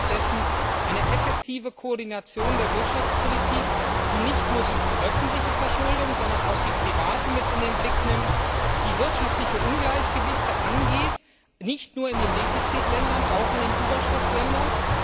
Wir brauchen stattdessen eine effektive Koordination der Wirtschaftspolitik, die nicht nur die öffentliche Verschuldung, sondern auch die private mit in den Blick nimmt und die wirtschaftliche Ungleichgewichte angeht, nicht nur in den Defizitländern, auch in den Überschussländern.